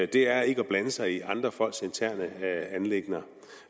det er ikke at blande sig i andre folks interne anliggender